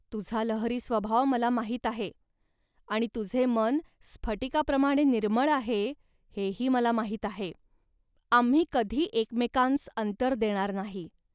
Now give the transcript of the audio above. तुझा लहरी स्वभाव मला माहीत आहे आणि तुझे मन स्फटिकाप्रमाणे निर्मळ आहे, हेही मला माहीत आहे. आम्ही कधी एकमेकांस अंतर देणार नाही